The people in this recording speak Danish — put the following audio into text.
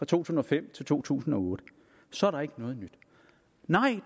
tusind og fem til to tusind og otte så er der ikke noget nyt